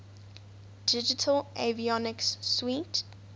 digital avionics suite